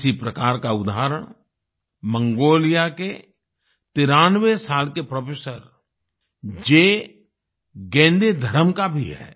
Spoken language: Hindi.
इसी प्रकार का उदाहरण मंगोलिया के 93 तिरानवे साल के प्रोफ़ेसर जे गेंदेधरम का भी है